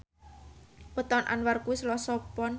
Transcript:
wetone Anwar kuwi Selasa Pon